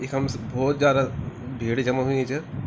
इखम भौत ज्यादा भीड़ जमा हुयी च ।